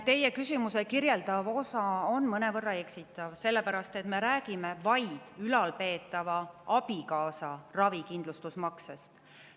Teie küsimuse kirjeldav osa on mõnevõrra eksitav, sellepärast et me räägime vaid ülalpeetava abikaasa ravikindlustusmaksest.